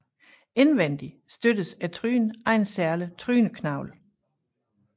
Indvendig støttes trynen af en særlig tryneknogle